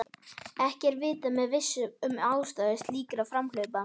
Ekki er vitað með vissu um ástæður slíkra framhlaupa